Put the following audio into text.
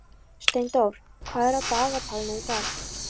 Steindór, hvað er í dagatalinu í dag?